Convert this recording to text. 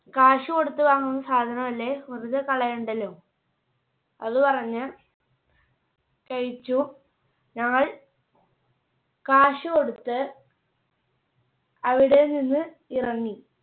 കാശ് കൊടുത്ത് വാങ്ങുന്ന സാധനം അല്ലെ വെറുതെ കളയേണ്ടല്ലോ. അത് പറഞ്ഞ് കഴിച്ചു. ഞങ്ങൾ കാശ് കൊടുത്ത് അവിടെ നിന്ന് ഇറങ്ങി.